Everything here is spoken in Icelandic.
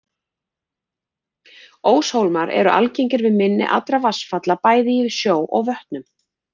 Óshólmar eru algengir við mynni allra vatnsfalla, bæði í sjó og vötnum.